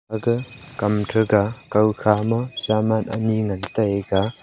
aga kam thaga koi khama saman anyi ngan taga.